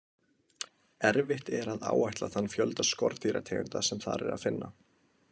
Erfitt er að áætla þann fjölda skordýrategunda sem þar er að finna.